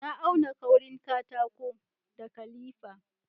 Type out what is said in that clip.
Na auna kaurin katako da kalifa